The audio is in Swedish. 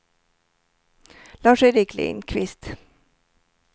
Lars-Erik Lindqvist